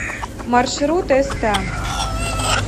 маршрут эста